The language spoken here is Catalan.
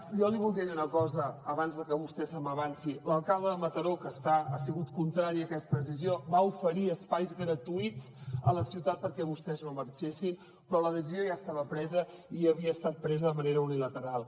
jo li voldria dir una cosa abans de que vostè se m’avanci l’alcalde de mataró que ha sigut contrari a aquesta decisió va oferir espais gratuïts a la ciutat perquè vostès no marxessin però la decisió ja estava presa i havia estat presa de manera unilateral